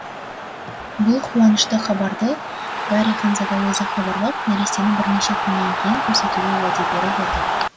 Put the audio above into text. бұл қуанышты хабарды гарри ханзада өзі хабарлап нәрестені бірнеше күннен кейін көрсетуге уәде беріп отыр